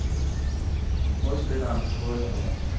Modspileren har fået et point.